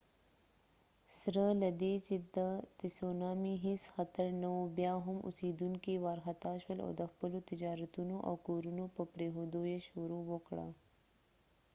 سره له دې چې د تسونامي هیڅ خطر نه و بیا هم اوسیدونکي وارخطا شول او د خپلو تجارتونو او کورونو په پریښودو یې شروع وکړه